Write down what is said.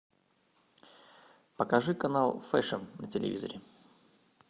покажи канал фэшн на телевизоре